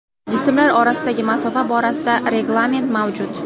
Jismlar orasidagi masofa borasida reglament mavjud.